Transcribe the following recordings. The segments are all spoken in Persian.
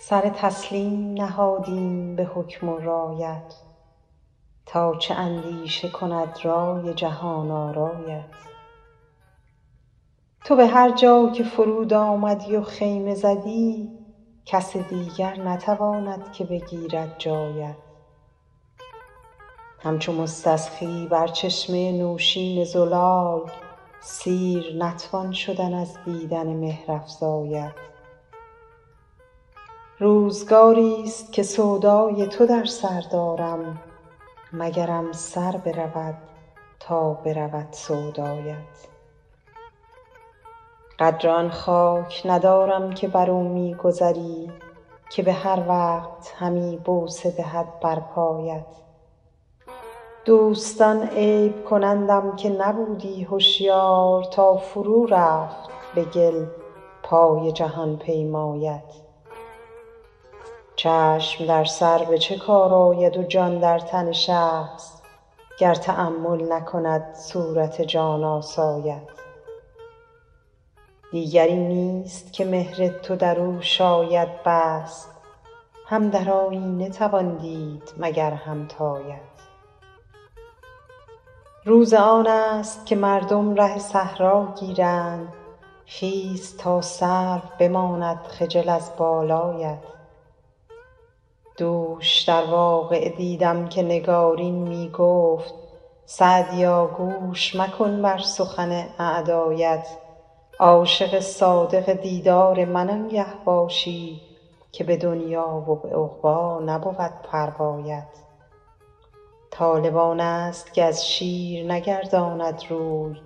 سر تسلیم نهادیم به حکم و رایت تا چه اندیشه کند رای جهان آرایت تو به هر جا که فرود آمدی و خیمه زدی کس دیگر نتواند که بگیرد جایت همچو مستسقی بر چشمه نوشین زلال سیر نتوان شدن از دیدن مهرافزایت روزگاریست که سودای تو در سر دارم مگرم سر برود تا برود سودایت قدر آن خاک ندارم که بر او می گذری که به هر وقت همی بوسه دهد بر پایت دوستان عیب کنندم که نبودی هشیار تا فرو رفت به گل پای جهان پیمایت چشم در سر به چه کار آید و جان در تن شخص گر تأمل نکند صورت جان آسایت دیگری نیست که مهر تو در او شاید بست هم در آیینه توان دید مگر همتایت روز آن است که مردم ره صحرا گیرند خیز تا سرو بماند خجل از بالایت دوش در واقعه دیدم که نگارین می گفت سعدیا گوش مکن بر سخن اعدایت عاشق صادق دیدار من آنگه باشی که به دنیا و به عقبی نبود پروایت طالب آن است که از شیر نگرداند روی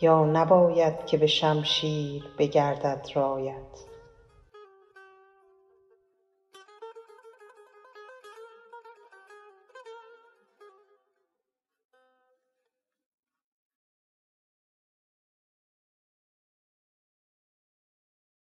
یا نباید که به شمشیر بگردد رایت